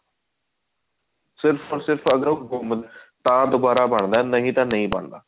ਸਿਰਫ ਓਰ ਸਿਰਫ ਅਗਰ ਉਹ ਗੁੰਮ ਜੇ ਤਾਂ ਦੁਬਾਰਾ ਬਣਦਾ ਨਹੀਂ ਤਾਂ ਨਹੀਂ ਬੰਦਾ